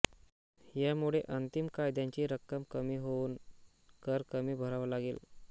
या मुळे अंतिम फायद्याची रक्कम कमी होऊन कर कमी भरावा लागेल